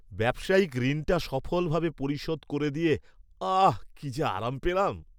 ব্যবসায়িক ঋণটা সফলভাবে পরিশোধ করে দিয়ে, আহ্, কী যে আরাম পেলাম!